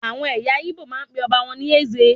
Àwọn ẹyà Igbo máa ń pe ọba wọn ní "Eze"